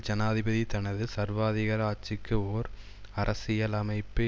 ஜனாதிபதி தனது சர்வாதிகார ஆட்சிக்கு ஒர் அரசியலமைப்பு